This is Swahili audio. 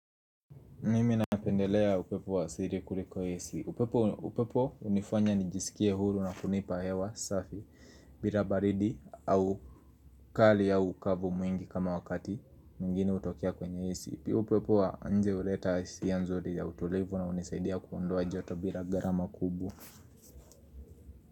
Mimi napendelea upepo wa asali kuliko ac upepo unifanya nijisikie hulu na kunipa hewa safi bila baridi au kali au kavu mwingi kama wakati mwigine hutokea kwenye ac upepo wa nje uleta hisia nzuri ya utolevu na unisaidia kuondoa joto bila garama kubwa.